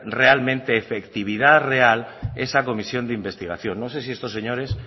efectividad real esa comisión de investigación no sé si estos señores